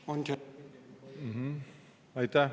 Aitäh!